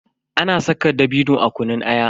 Ana saka dabino a kunun aya.